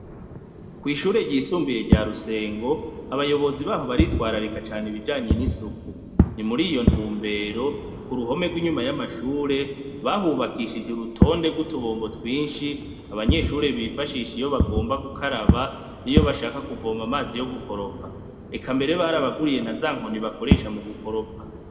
Kw'ishure ryisumbiye rya rusengo abayobozi baho baritwararika cane ibijanye n'isuku ni muri iyo ntumbero ku ruhome rw'inyuma y'amashure bahubakishije urutonde rw'utubombo twinshi abanyeshure bifashisha iyo bagomba gukaraba niyo bashaka kuvoma amazi yo gukoropa eka mbere barabaguriye na za nkoni bakoresha mu gukoropa.